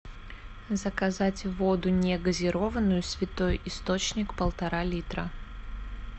заказать воду негазированную святой источник полтора литра